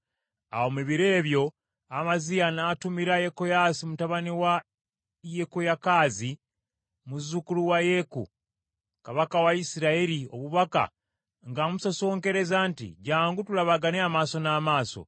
Awo mu biro ebyo Amaziya n’atumira Yekoyaasi mutabani wa Yekoyakaazi, muzzukulu wa Yeeku, kabaka wa Isirayiri, obubaka ng’amusosonkereza nti, “Jjangu tulabagane amaaso n’amaaso.”